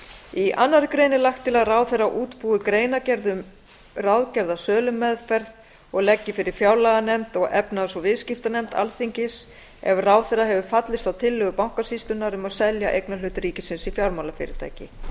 í annarri grein er lagt til að ráðherra útbúi greinargerð um ráðgerða sölumeðferð og leggi fyrir fjárlaganefnd og efnahags og viðskiptanefnd alþingis ef ráðherra hefur fallist á tillögu bankasýslunnar um að selja eignarhlut ríkisins í fjármálafyrirtæki